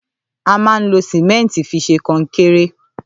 À mà ń lo símẹntì físè kónkẹrẹ